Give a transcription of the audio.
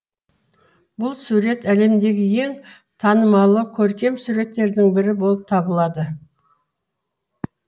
бұл сурет әлемдегі ең танымалы көркем суреттердің бірі болып табылады